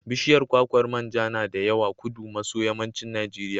Bishiyar kwakwar man ja na da yawa Kudu maso yammancin Najeriya.